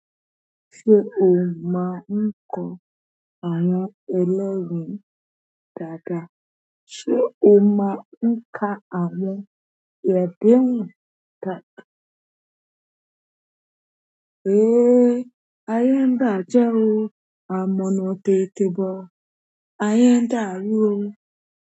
Ṣé o máa ń kọ àwọn ẹlẹ́wọ̀n dáadáa? Ṣé o máa ń ka àwọn àdéhùn wò dáadáa? Héé! Aye ń bàjẹ́ o. Àmọ́na tètè bo, aye ń dáru o.